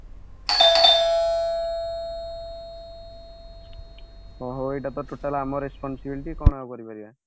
ହଁ ହଉ ଏଇଟା ତ total ଆମର responsibility କଣ ଆଉ କରି ପାରିବା